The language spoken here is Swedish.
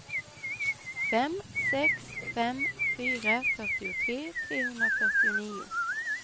fem sex fem fyra fyrtiotre trehundrafyrtionio